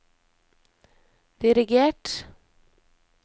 dirigert